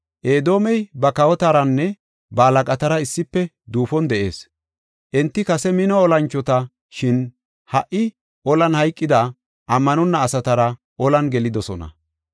“Edoomey ba kawotaranne ba halaqatara issife duufon de7ees; enti kase mino olanchota; shin ha77i olan hayqida, ammanonna asatara ollan gelidosona.